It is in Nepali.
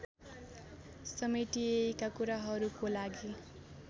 समेटिएका कुराहरूको लागि